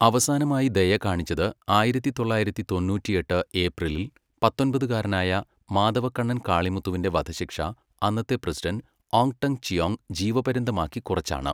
അവസാനമായി ദയ കാണിച്ചത് ആയിരത്തി തൊള്ളായിരത്തി തൊണ്ണൂറ്റിയെട്ട് ഏപ്രിലിൽ പത്തൊമ്പതുകാരനായ മാതവക്കണ്ണൻ കാളിമുത്തുവിന്റെ വധശിക്ഷ അന്നത്തെ പ്രസിഡന്റ് ഓങ് ടെങ് ചിയോങ് ജീവപര്യന്തമാക്കി കുറച്ചാണ്.